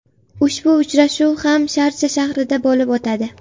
Ushbu uchrashuv ham Sharja shahrida bo‘lib o‘tadi.